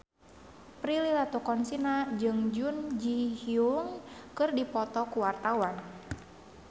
Prilly Latuconsina jeung Jun Ji Hyun keur dipoto ku wartawan